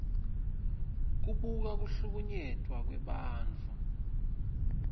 kubika kuhlukunyetwa kwebantfu